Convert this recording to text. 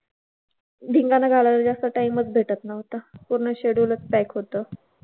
धिंगाणा घालायला जास्त time चं भेटत नव्हता. पूर्ण schedule चं pack होतं.